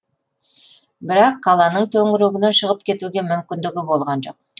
бірақ қаланың төңірегінен шығып кетуге мүмкіндігі болған жоқ